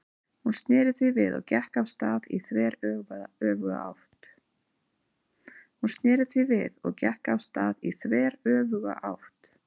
Hún sneri því við og gekk af stað í þveröfuga átt.